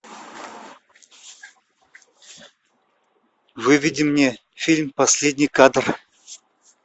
выведи мне фильм последний кадр